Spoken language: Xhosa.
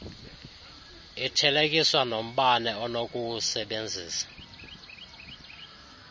ithelekiswa nombane onokuwusebenzisa